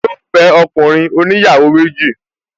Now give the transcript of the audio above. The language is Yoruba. Yíò fẹ́ ọkùnrin oníyàwó méjì